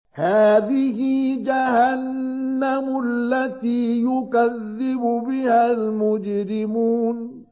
هَٰذِهِ جَهَنَّمُ الَّتِي يُكَذِّبُ بِهَا الْمُجْرِمُونَ